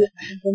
সেইটো